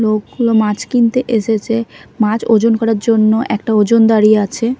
লোকগুলো মাছ কিনতে এসেছে মাছ ওজন করার জন্য একটা ওজনদাঁড়ি আছে।